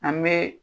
An bɛ